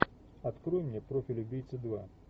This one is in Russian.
открой мне профиль убийцы два